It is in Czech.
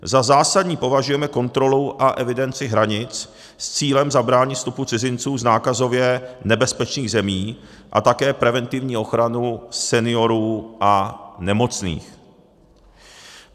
Za zásadní považujeme kontrolu a evidenci hranic s cílem zabránit vstupu cizinců z nákazově nebezpečných zemí a také preventivní ochranu seniorů a nemocných.